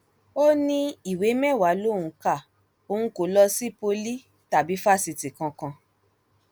ó ní ìwé mẹwàá lòún ka òun kó lọ sí pọlì tàbí fásitì kankan